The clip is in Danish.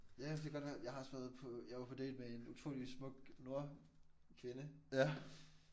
Ja det kan godt være. Jeg har også været på jeg var på date med en utrolig smuk nordkvinde